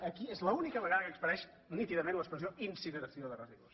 aquí és l’única vegada que apareix nítidament l’expressió incineració de residus